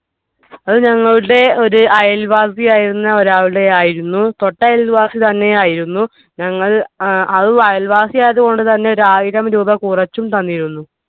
അത് ഞങ്ങളുടെ ഒരു അയൽവാസിയായിരുന്ന ഒരാളുടെ ആയിരുന്നു തൊട്ട അയൽവാസി തന്നെയായിരുന്നു ഞങ്ങൾ ഏർ അത് അയൽവാസി ആയതുകൊണ്ട് തന്നെ ഒരായിരം രൂപ കുറച്ചു തന്നിരുന്നു